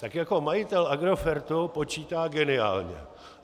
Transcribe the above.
Tak jako majitel Agrofertu počítá geniálně.